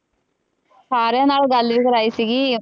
ਸਾਰਿਆਂ ਨਾਲ ਗੱਲ ਵੀ ਕਰਵਾਈ ਸੀਗੀ।